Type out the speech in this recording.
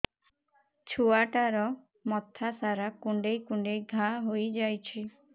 ଛୁଆଟାର ମଥା ସାରା କୁଂଡେଇ କୁଂଡେଇ ଘାଆ ହୋଇ ଯାଇଛି